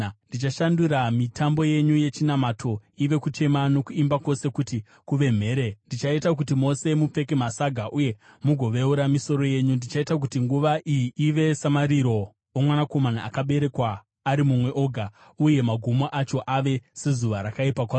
Ndichashandura mitambo yenyu yechinamato ive kuchema, nokuimba kwose kuti kuve mhere. Ndichaita kuti mose mupfeke masaga uye mugoveura misoro yenyu. Ndichaita kuti nguva iyi ive samariro omwanakomana akaberekwa ari mumwe oga, uye magumo acho ave sezuva rakaipa kwazvo.